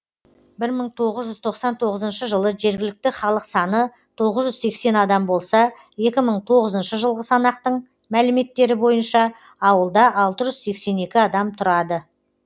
мың тоғыз жүз тоқсан тоғызыншы жылы жергілікті халық саны тоғыз жүз сексен адам болса екі мыңи тоғызыншы жылғы санақтың мәліметтері бойынша ауылда алты жүз сексен екінші адам тұрады